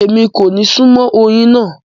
Ẹmi kò ní sùnmọ̀ ọyin náà